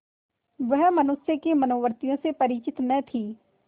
वह मनुष्य की मनोवृत्तियों से परिचित न थी